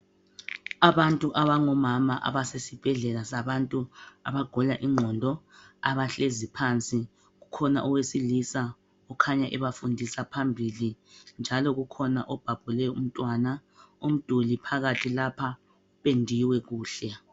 abantu abangomama abasesibhedlela sabantu abagula inqondo abahlezi phansi ukhona owesilisa ukhanya ebafundisa phambili njalo kukhona o bhabhule umntwana umduli phakathi lapha upendiwe kuhle